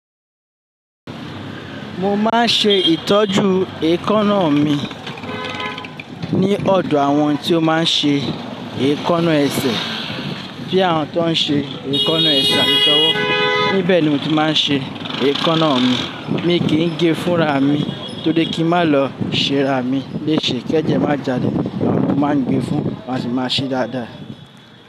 Mo máa ń ṣe ìtọ́jú èékánná mi ní ọ̀dọ̀ àwọn tí ó máa ń ṣe èékánná ẹsẹ̀. Bí àwọn tó ń ṣe èékánná ẹsẹ̀ ati tọ́wọ́, níbẹ̀ ni mo ti máa ń ṣe èékánná mi. Mi kì n gé fúnra mi tó ri kí n máa lọ ṣe ara mi léèṣẹ́. Kẹ́jẹ́ má jáde, àwọn tí mo máa ń gbé fún máa sì máa ṣe dáadáa.